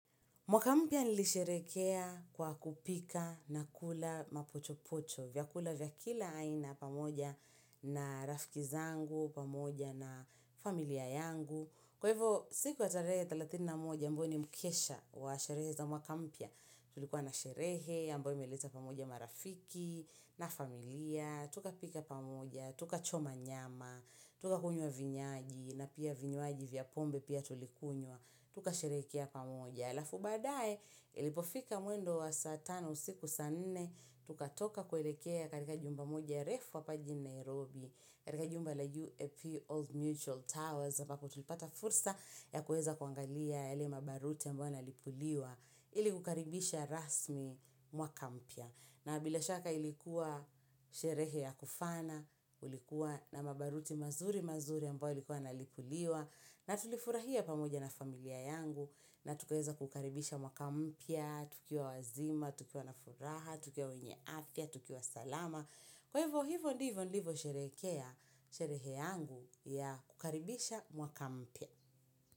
Mwaka mpya nilisherekea kwa kupika na kula mapochopocho. Vyakula vya kila aina pamoja na rafiki zangu, pamoja na familia yangu. Kwa hivyo, siku ya tarehe thelathini na moja ambayo ni mkesha wa sherehe za mwaka mpya. Tulikuwa na sherehe, ambayo imeleta pamoja marafiki, na familia. Tukapika pamoja, tukachoma nyama, tukakunywa vinywaji, na pia vinywaji vya pombe pia tulikunywa. Tukasherehekea pamoja. Alafu baadae ilipofika mwendo wa saa tano usiku saa nne. Tukatoka kuelekea katika jumba moja refu hapa jijini Nairobi. Katika jumba la UAP Old Mutual Towers. Ambapo tulipata fursa ya kueza kuangalia yale mabaruti ambayo yanalipuliwa ili kukaribisha rasmi mwaka mpya. Na bila shaka ilikuwa sherehe ya kufana, ulikuwa na mabaruti mazuri mazuri ambayo yailikuwa yanalipuliwa. Na tulifurahia pamoja na familia yangu na tukaeza kukaribisha mwaka mpya, tukiwa wazima, tukiwa na furaha, tukiwa wenye afya, tukiwa salama. Kwa hivyo hivo ndivyo nilivyosherekea sherehe yangu ya kukaribisha mwaka mpya.